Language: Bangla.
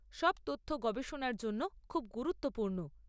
সব তথ্য গবেষণার জন্য খুব গুরুত্বপূর্ণ।